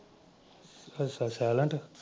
ਅੱਛਾ ਸੈਲੇਂਟ।